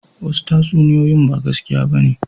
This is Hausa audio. Wasu tatsuniyoyin ba gaskiya ba ne